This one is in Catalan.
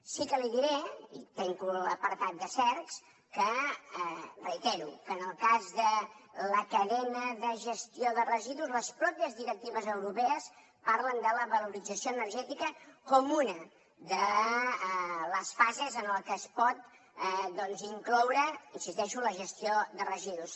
sí que li diré i tanco l’apartat de cercs que ho reitero en el cas de la cadena de gestió de residus les mateixes directives europees parlen de la valorització energètica com una de les fases en què es pot incloure hi insisteixo la gestió de residus